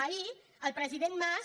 ahir el president mas